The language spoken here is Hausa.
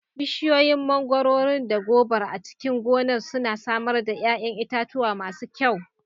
Bishiyoyin mangwaron da gobar a cikin gonar suna samar da ƴaƴan itatuwa masu kyau.